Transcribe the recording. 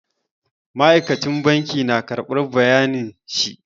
Ma'aikacin banki na karɓar bayanin shi.